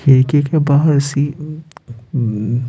खिड़की के बाहर सि ई उम्म --